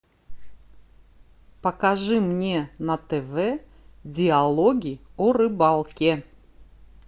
покажи мне на тв диалоги о рыбалке